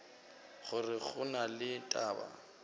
gore go na le taba